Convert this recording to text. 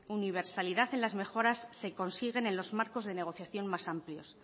universalidad en las mejoras se consiguen en los marcos de negociación más amplios